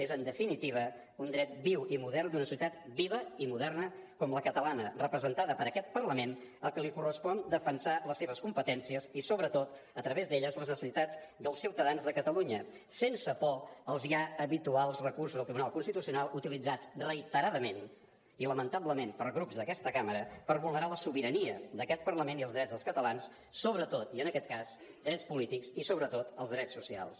és en definitiva un dret viu i modern d’una societat viva i moderna com la catalana representada per aquest parlament al que li correspon defensar les seves competències i sobretot a través d’elles les necessitats dels ciutadans de catalunya sense por als ja habituals recursos al tribunal constitucional utilitzats reiteradament i lamentablement per grups d’aquesta cambra per vulnerar la sobirania d’aquest parlament i els drets dels catalans sobretot i en aquest cas drets polítics i sobretot els drets socials